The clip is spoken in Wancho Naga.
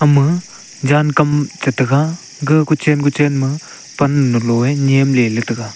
ama jan kam che tega ga kochen kochen ma pan lui le nyem le la tega.